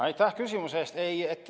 Aitäh küsimuse eest!